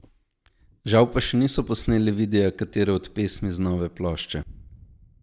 Žal pa še niso posneli videa katere od pesmi z nove plošče.